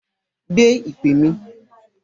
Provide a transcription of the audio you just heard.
Gbé ìpè mi!